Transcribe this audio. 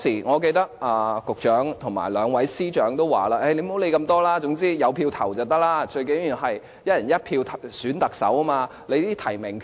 我記得當時局長和兩位司長都說無須理會那麼多，總之可以投票便可，最重要的是"一人一票"選特首。